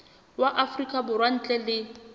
wa afrika borwa ntle le